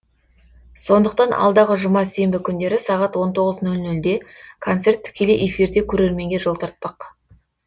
сондықтан алдағы жұма сенбі күндері сағат он тоғыз нөл нөлде концерт тікелей эфирде көрерменге жол тартпақ